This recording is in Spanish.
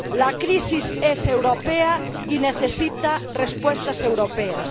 La crisis es europea y necesita respuestas europeas.